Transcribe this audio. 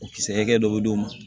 O kisɛ hakɛ dɔ bɛ d'u ma